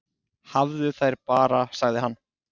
"""Hafðu þær bara, sagði hann."""